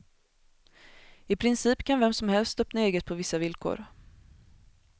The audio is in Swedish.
I princip kan vem som helst öppna eget på vissa villkor.